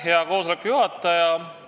Hea koosoleku juhataja!